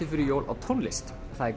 fyrir jól á tónlist það er